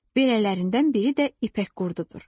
Belələrindən biri də ipək qurdudur.